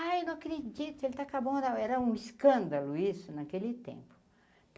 Ai, eu não acredito, ele tá com a mão na, era um escândalo isso naquele tempo.